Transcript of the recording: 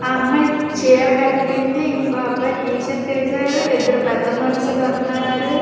ఆ అమ్మాయి చీర కట్టింది. ఇంకో అబ్బాయి టీ షర్ట్ వేసాడు. ఇద్దరు పెద్ద మనుషులు ఉన్నారు.